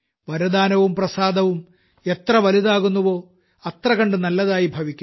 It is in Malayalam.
വരദാനംവും പ്രസാദവും എത്ര വലുതാകുന്നുവോ അത്രകണ്ടു നല്ലതായി ഭവിക്കുന്നു